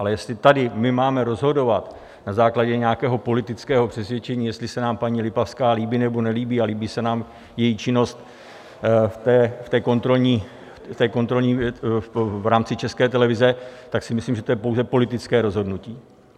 Ale jestli tady my máme rozhodovat na základě nějakého politického přesvědčení, jestli se nám paní Lipavská líbí nebo nelíbí a líbí se nám její činnost v té kontrolní v rámci České televize, tak si myslím, že to je pouze politické rozhodnutí.